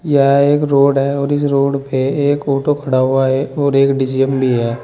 यह एक रोड है और इस रोड पे एक ऑटो खड़ा हुआ है और एक डी_सी_एम भी है।